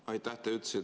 Aitäh!